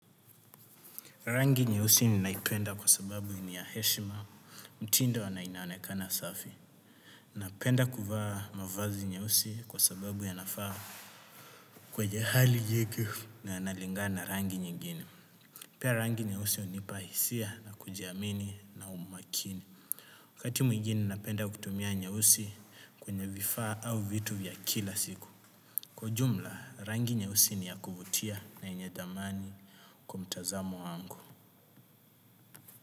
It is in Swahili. Rangi nyeusi ninaipenda kwa sababu ni ya heshima, mtindo na inaonekana safi. Napenda kuvaa mavazi nyeusi kwa sababu yanafaa kwenye hali nyingi na yanalingana na rangi nyingine. Pia rangi nyeusi hunipa hisia na kujiamini na umakini. Wakati mwingine napenda kutumia nyeusi kwenye vifaa au vitu vya kila siku. Kwa ujumla, rangi nyeusi ni ya kuvutia na yenye dhamani kwa mtazamo wangu.